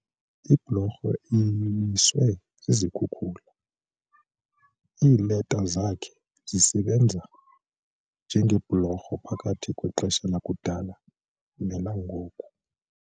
Iblorho iwiswe zizikhukula. iileta zakhe zisebenza njengebhulorho phakathi kwexesha lakudala nelangoku